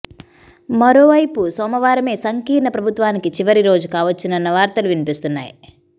మరోవైపు సోమవారమే సంకీర్ణ ప్రభుత్వానికి చివరి రోజు కావచ్చునన్న వార్తలూ వినిపిస్తున్నాయి